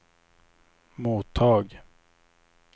mottag